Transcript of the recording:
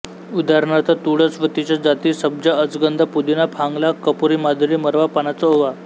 उदा तुळस व तिच्या जाती सब्जा अजगंधा पुदिना फांगला कपुरीमाधुरी मरवा पानाचा ओवा